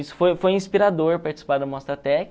foi foi inspirador participar da Mostratec,